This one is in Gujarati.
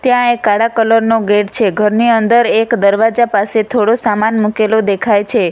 ત્યાં એ કાળા કલર નો ગેટ છે ઘરની અંદર એક દરવાજા પાસે થોડો સામાન મુકેલો દેખાય છે.